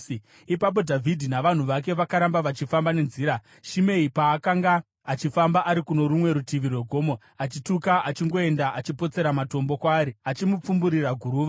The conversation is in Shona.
Ipapo Dhavhidhi navanhu vake vakaramba vachifamba nenzira, Shimei paakanga achifamba ari kuno rumwe rutivi rwegomo, achituka achingoenda achipotsera matombo kwaari achimupfumburira guruva.